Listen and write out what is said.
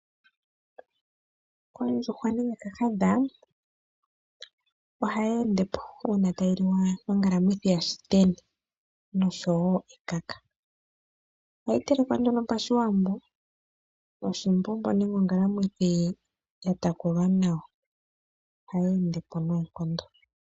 Ondjuhwa nenge kahadha oha yeendepo, uuna tayi liwa nongala mwithi ya shiteni nosho woo ekaka. Oha yi telekwa nduno pa shiwambo noshi mbobo, nenge ongala mwithi ya takulwa nawa. Ohayi endepo noo nkondo.